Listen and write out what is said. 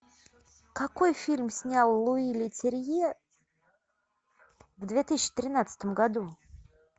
какой фильм снял луи летерье в две тысячи тринадцатом году